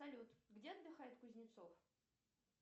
салют где отдыхает кузнецов